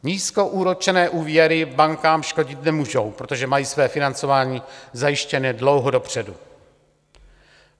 Nízkoúročené úvěry bankám škodit nemůžou, protože mají své financování zajištěné dlouho dopředu.